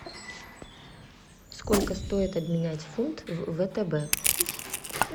сколько стоит обменять фунт в втб